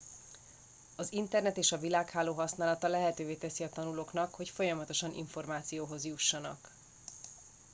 az internet és a világháló használata lehetővé teszi a tanulóknak hogy folyamatosan információhoz jussanak